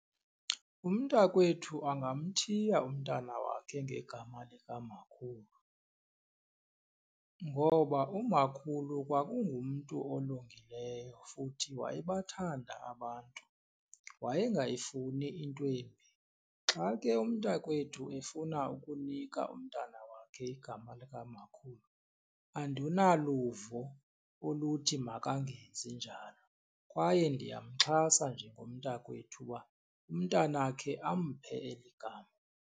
Umntakwethu angamthiya umntana wakhe ngegama likamakhulu ngoba umakhulu kwakungumntu olungileyo futhi wayebathanda abantu, wayengafuni into embi. Xa ke umntakwethu efuna ukunika umntana wakhe igama likamakhulu andinaluvo oluthi makangezi njalo kwaye ndiyamxhasa njengomntakwethu uba umntanakhe amphe eli gama.